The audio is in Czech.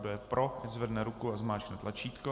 Kdo je pro, ať zvedne ruku a zmáčkne tlačítko.